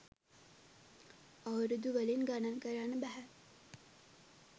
අවුරුදු වලින් ගණන් කරන්න බැහැ.